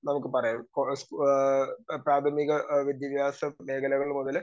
speaker 2 നമുക്ക് പറയാം ആഹ് പ്രാഥമിക വിദ്യാഭ്യാസം മേഖലകൾ മുതല്